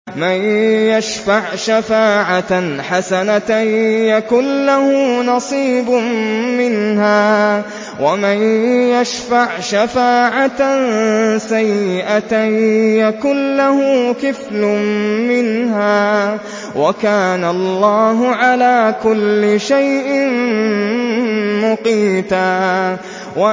مَّن يَشْفَعْ شَفَاعَةً حَسَنَةً يَكُن لَّهُ نَصِيبٌ مِّنْهَا ۖ وَمَن يَشْفَعْ شَفَاعَةً سَيِّئَةً يَكُن لَّهُ كِفْلٌ مِّنْهَا ۗ وَكَانَ اللَّهُ عَلَىٰ كُلِّ شَيْءٍ مُّقِيتًا